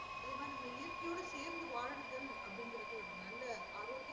அதே மாறி நம்ம இயற்கையோடு சேர்ந்து வாழுங்கள் அப்டிங்கு ஒரு நல்ல ஆரோக்கியமான